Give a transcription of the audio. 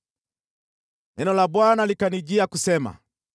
Neno la Bwana likanijia kusema: